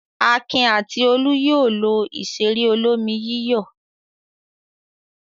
Akin àti Olú yóò lo ìṣeré olómi-yíyọ̀.